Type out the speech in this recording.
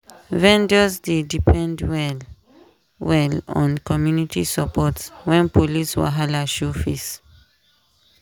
vendors dey depend well-well on community support when police wahala show face.